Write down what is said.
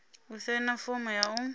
u saina fomo ya u